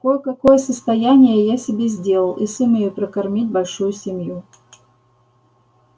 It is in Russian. кое-какое состояние я себе сделал и сумею прокормить большую семью